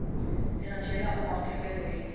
finansiële afhanklikes hê